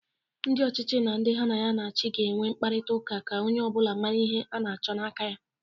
Ndị ọchịchị na ndị ha na-achị ga na-enwe nkparịtaụka ka onye ọbụla mara ihe ana-achọ n'aka ya.